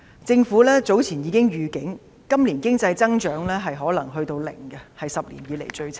政府早前已發出預警，今年經濟增長可能是零，是10年以來最差。